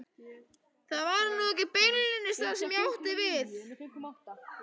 Það var nú ekki beinlínis það sem ég átti við.